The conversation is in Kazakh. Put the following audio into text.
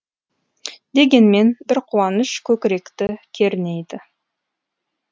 дегенмен бір қуаныш көкіректі кернейді